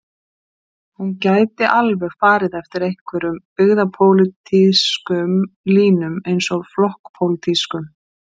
Hún gæti alveg farið eftir einhverjum byggðapólitískum línum eins og flokkspólitískum.